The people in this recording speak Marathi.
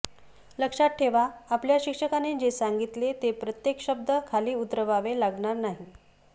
लक्षात ठेवा आपल्या शिक्षकाने जे सांगितले ते प्रत्येक शब्द खाली उतरवावे लागणार नाही